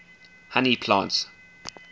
honey plants